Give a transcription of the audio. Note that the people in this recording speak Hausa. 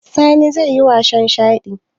Sani zai yi wasan shaɗi?